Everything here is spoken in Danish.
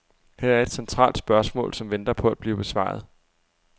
Her er et centralt spørgsmål, som venter på at blive besvaret.